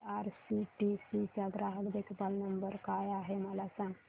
IRCTC चा ग्राहक देखभाल नंबर काय आहे मला सांग